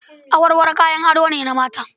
Awarwaro kayan ado ne na mata.